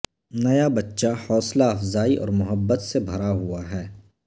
نیا بچہ حوصلہ افزائی اور محبت سے بھرا ہوا ہے